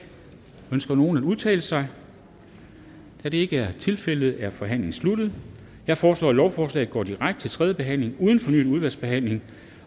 ønsker nogen at udtale sig da det ikke er tilfældet er forhandlingen sluttet jeg foreslår at lovforslaget går direkte til tredje behandling uden fornyet udvalgsbehandling